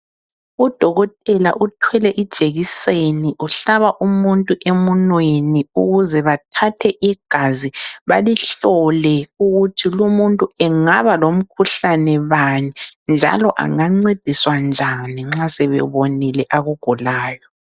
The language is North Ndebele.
Udokotela uthwele ijekiseni. Uhlaba umuntu emunweni ukuze bathathe igazi balihlole, ukuthi lumuntu angaba lomkhuhlane bani, njalo engancediswa njani nxa sebebonile akugulayo.